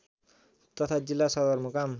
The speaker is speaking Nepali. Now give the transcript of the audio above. तथा जिल्ला सदरमुकाम